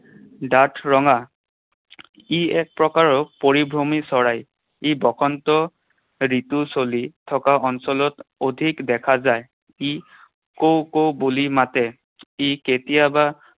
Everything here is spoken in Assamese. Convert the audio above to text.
ডাঠ ৰঙা। ই এক প্ৰকাৰৰ পৰিভ্ৰমী চৰাই। ই বসন্ত ঋতু চলি থকা অঞ্চলত অধিক দেখা যায়। ই কুউ, কুউ বুলি মাতে। ই কেতিয়াবা